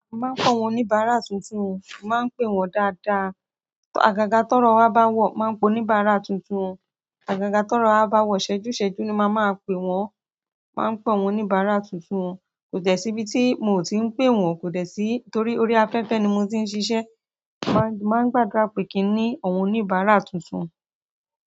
Mo máa ń call àwọn oníbàárà tuntun o, mo màá ń pè wọ́n dáadáa. Àgàgà tọrọ wa bá wọ̀, mo máa ń pè oníbàárà tuntun. Àgàgà tọrọ wa bá wọ̀, iṣẹ́jú iṣẹ́jú ni mo màá máa pè wọ́n. Mo màá ń pè àwọn oníbàárà tuntun o. Kò dẹ̀ sí ibi tí mio ti ń pè wọ́n, torí orí afẹ́fẹ́ ni mo ti ń ṣiṣẹ́. Mo máa ń gbàdúrà pé kí n ní àwọn oníbàárà tuntun.